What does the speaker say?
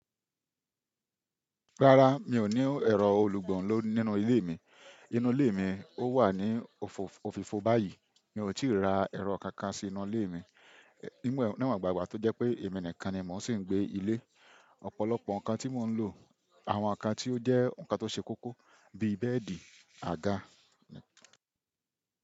Rárá, mi ò ní ẹ̀rọ olùgbọ̀n lọ́ nínú ilé mi. Inú ilé mi ó wà ní òfo ofìfo báyìí. Mi ò tí ì ra ẹ̀rọ kankan sí inú ilé mi. Níwònba ígbà tó jẹ́ pé èmi nìkan ni mò ń sì gbé ilé. Ọ̀pọ̀lọpọ̀ nǹkan tí mò ń lò, àwọn nǹkan tí ó jẹ́ nǹkan tó ṣe kókó bíi bẹ́ẹ̀dì, àga.